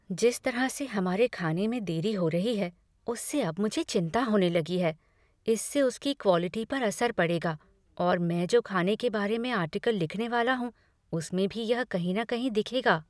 जिस तरह से हमारे खाने में देरी हो रही है, उससे अब मुझे चिंता होने लगी है। इससे उसकी क्वालिटी पर असर पड़ेगा और मैं जो खाने के बारे में आर्टिकल लिखने वाला हूँ उसमें भी यह कहीं न कहीं दिखेगा।